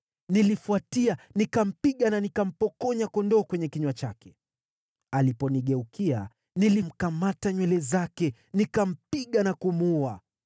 nilifuatia, nikampiga na nikampokonya kondoo kwenye kinywa chake. Aliponigeukia, nilimkamata nywele zake, nikampiga na kumuua.